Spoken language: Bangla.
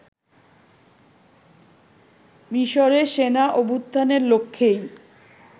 মিশরে সেনা অভ্যুত্থানের লক্ষ্যেই